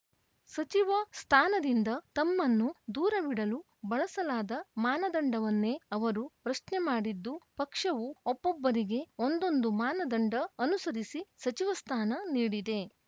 ಸಚಿವ ಸ್ಥಾನದಿಂದ ತಮ್ಮನ್ನು ದೂರವಿಡಲು ಬಳಸಲಾದ ಮಾನದಂಡವನ್ನೇ ಅವರು ಪ್ರಶ್ನೆ ಮಾಡಿದ್ದು ಪಕ್ಷವು ಒಬ್ಬೊಬ್ಬರಿಗೆ ಒಂದೊಂದು ಮಾನದಂಡ ಅನುಸರಿಸಿ ಸಚಿವ ಸ್ಥಾನ ನೀಡಿದೆ